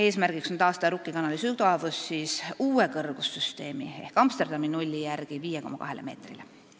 Eesmärk on taastada Rukki kanali sügavus siis uue kõrgussüsteemi ehk Amsterdami nulli järgi 5,2 meetrile.